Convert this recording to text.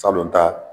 Salon ta